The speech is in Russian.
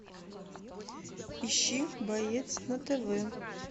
ищи боец на тв